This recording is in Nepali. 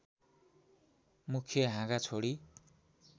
मुख्य हाँगा छोडी